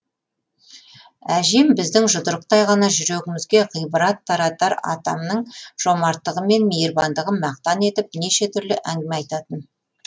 әжем біздің жұдырықтай ғана жүрегімізге ғибрат таратар атамның жомарттығы мен мейірбандығын мақтан етіп неше түрлі әңгіме айтатын